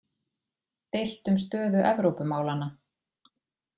Deilt um stöðu Evrópumálanna